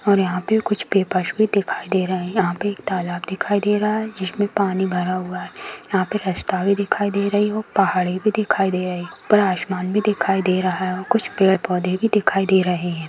और यहां पे कुछ पेपर्स भी दिखाई दे रहे हैं यहां पे एक तालाब दिखाई दे रहा है जिसमें पानी भरा हुआ है यहां पे रस्ता भी दिखाई दे रही हो पहाड़ी भी दिखाई दे रही ऊपर आसमान भी दिखाई दे रहा है और कुछ पेड़ पौधे भी दिखाई दे रहे है।